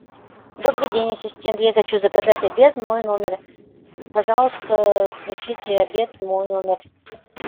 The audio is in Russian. добрый день ассистент я хочу заказать обед в мой номер пожалуйста пришлите обед в мой номер